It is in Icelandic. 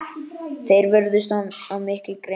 Þeir vörðust af mikilli grimmd.